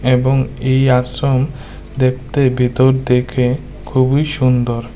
এবং এই আশ্রম দেখতে ভিতর থেকে খুবই সুন্দর।